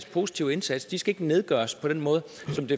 positiv indsats de skal nedgøres på den måde